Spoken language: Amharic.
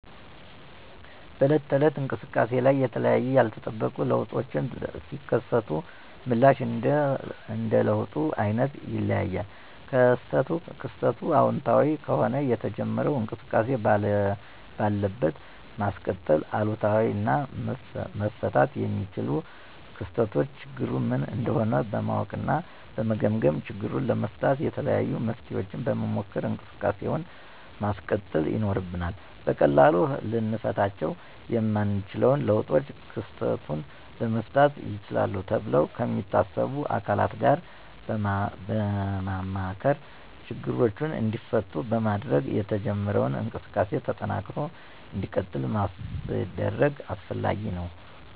በዕለት ተዕለት እንቅሰቃሴ ላይ የተለያዩ ያልተጠበቁ ለውጦች ሲከሰቱ ምላሽ እንደ ለውጡ አይነት ይለያያል። ክስተቱ አወንታዊ ከሆነ የተጀመረውን እንቅስቃሴ ባለበት ማስቀጠል፤ አሉታዊ እና መፈታት የሚችሉ ክስተቶችን ችግሩ ምን እንደሆነ በማወቅ እና በመገምገም ችግሩን ለመፍታት የተለያዩ መፍትሔዎችን በመሞከር እንቅሰቃሴውን ማስቀጠል ይኖርብናል። በቀላሉ ልንፈታቸው የማንችለውን ለውጦች ክስተቱን ለመፍታት ይችላሉ ተብሎ ከሚታሰቡ አካላት ጋር በማማከር ችግሮቹ እንዲፈቱ በማድረግ የተጀመረው እንቅስቃሴ ተጠናክሮ እንዲቀጥል ማስደረግ አስፈላጊ ነው።